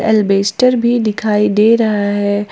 अल्बेस्टर भी दिखाई दे रहा है।